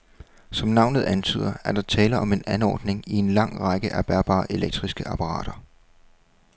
Som navnet antyder, er der tale om en anordning i en lang række af bærbare elektriske apparater.